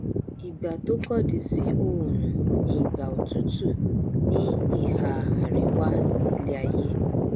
ìgbà tó kọdí sí òòrùn ni ìgbà òtútù ní ìhà àríwá iléaiyé